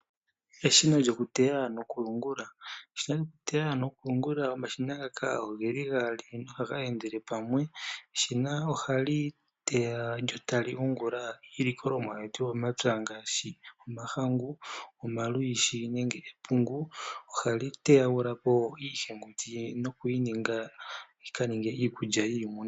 Eshina lyoku teya noku yungula, eshina lyoku teya noku yungula, omashina ngaka ogeli gaali na ohaga endele pamwe. Eshina ohali teya lyo tali yungula iilikolomwa yetu yomomapya ngashi omahangu, olwishi nomapungu. Ohali teyagulapo iihenguti, nokuyi ninga yika ninge iikulya yiimuna.